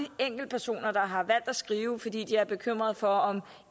enkeltpersoner der har valgt at skrive fordi de er bekymrede for om